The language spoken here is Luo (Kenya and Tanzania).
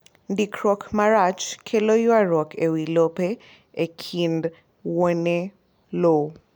Ndikruok marach kelo ywarruok ewi lope e kind wuone lowo